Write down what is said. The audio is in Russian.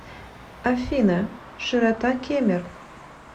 афина широта кемер